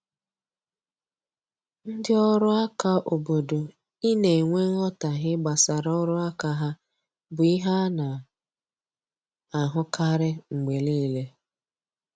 Ndị ọrụ aka obodo I na enwe nghotahie gbasara ọrụ aka ha bụ ihe ana ahụ karịa mgbe niile